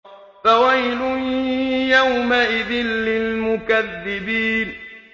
فَوَيْلٌ يَوْمَئِذٍ لِّلْمُكَذِّبِينَ